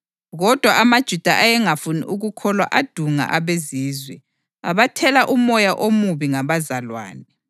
Kodwa amaJuda ayengafuni ukukholwa adunga abeZizwe, abathela umoya omubi ngabazalwane.